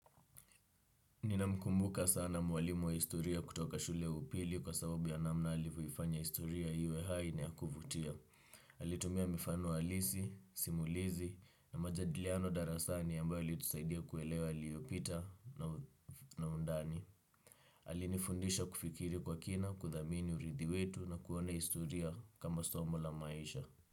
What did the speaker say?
Ninamkumbuka sana mwalimu wa historia kutoka shule ya upili kwa sababu ya namna alivyoifanya historia iwe hai na ya kuvutia. Alitumia mifano halisi, simulizi na majadiliano darasani ambayo ilimsaidia kuelewa yaliyopita na undani. Alinifundisha kufikiri kwa kina, kudhamini uridhi wetu na kuona historia kama somo la maisha.